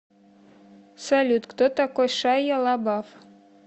салют кто такой шайя лабаф